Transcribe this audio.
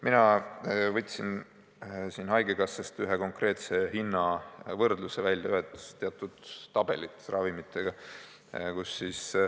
Mina võtsin haigekassast ühe konkreetse hinnavõrdluse välja, teatud tabelid ravimitega.